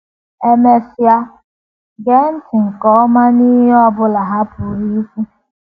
E mesịa, gee ntị nke ọma n’ihe ọ bụla ha pụrụ ikwu.